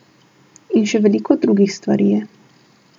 In še veliko drugih stvari je.